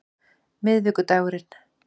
miðvikudagurinn